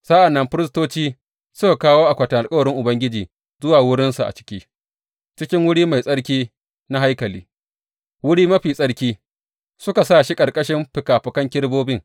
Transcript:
Sa’an nan firistoci suka kawo akwatin alkawarin Ubangiji zuwa wurinsa a ciki cikin wuri mai tsarki na haikali, Wuri Mafi Tsarki, suka sa shi ƙarƙashin fikafikan kerubobin.